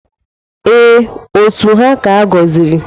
Ee, otu ha ka-agọziri.